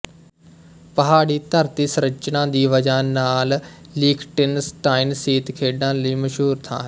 ਪਹਾੜੀ ਧਰਤੀ ਸੰਰਚਨਾ ਦੀ ਵਜ੍ਹਾ ਨਾਲ ਲੀਖਟੇਨਸ਼ਟਾਇਨ ਸੀਤ ਖੇਡਾਂ ਲਈ ਮਸ਼ਹੂਰ ਥਾਂ ਹੈ